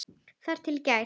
Þar til í gær.